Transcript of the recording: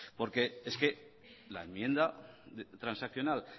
porque es que la enmienda transaccional